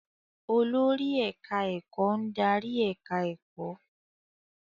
Olórí ẹ̀káá-ẹ̀kọ́ ń darí ẹ̀ká ẹ̀kọ́